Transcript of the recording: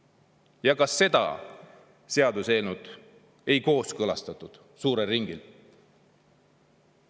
Ja ka seda seaduseelnõu ei kooskõlastatud suurel ringil.